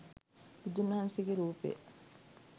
බුදුන් වහන්සේගේ රූපය